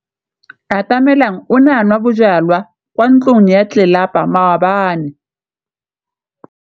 Atamelang o ne a nwa bojwala kwa ntlong ya tlelapa maobane.